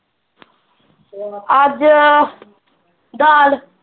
ਅਜੱ ਦਾਲ।